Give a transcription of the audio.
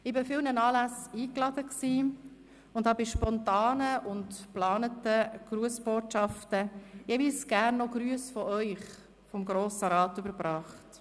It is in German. Ich war an vielen Anlässen eingeladen und habe bei spontanen und geplanten Grussbotschaften jeweils auch gerne Grüsse von Ihnen, vom Grossen Rat, überbracht.